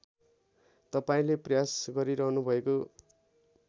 तपाईँले प्रयास गरिरहनुभएको